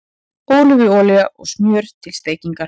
Ólífuolía og smjör til steikingar